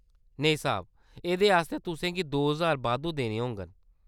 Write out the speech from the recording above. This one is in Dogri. नेईं साह्‌‌ब। एह्‌‌‌दे आस्तै तुसें गी दो हजार बाद्धू देने होङन।